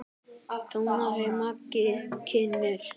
tónaði Maggi kynnir.